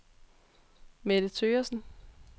Mette Thøgersen